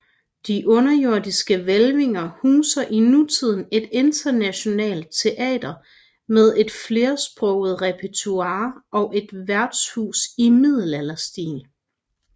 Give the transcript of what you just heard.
De underjordiske hvælvinger huser i nutiden et internationalt teater med et flersproget repertoire og et værtshus i middelalderstil